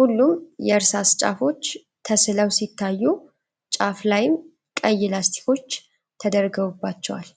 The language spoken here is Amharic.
ሁሉም የእርሳስ ጫፎች ተስለው ሲታዩ፣ ጫፍ ላይም ቀይ ላስቲኮች ተደርገውባቸዋል።